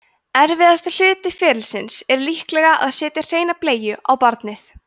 erfiðasti hluti ferlisins er líklega að setja hreina bleiu á barnið